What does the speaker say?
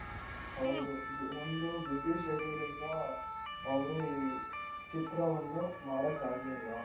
ಹೌದು ಒಂದು busy schedule ಇಂದ ಅವ್ರು ಈ ಚಿತ್ರವನ್ನು ಮಾಡಕಾಗ್ಲಿಲ್ಲ .